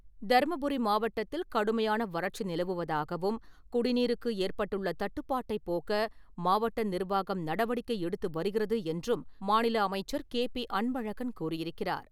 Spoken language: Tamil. தர்மபுரி மாவட்டத்தில் கடுமையான வறட்சி நிலவுவதாகவும், குடிநீருக்கு ஏற்பட்டுள்ள தட்டுப்பாட்டைப் போக்க மாவட்ட நிர்வாகம் நடவடிக்கை எடுத்து வருகிறது என்றும் மாநில அமைச்சர் கே. பி. அன்பழகன் கூறியிருக்கிறார்.